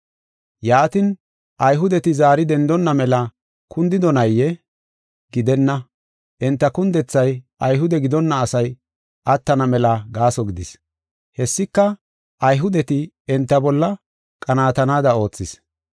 Yaatin, Ayhudeti zaari dendonna mela kundidonayee? Gidenna! Enta kundethay Ayhude gidonna asay attana mela gaaso gidis. Hessika Ayhudeti enta bolla qanaatanaada oothis.